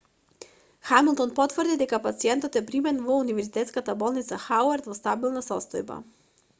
хамилтон потврди дека пациентот е примен во универзитетската болница хауард во стабилна состојба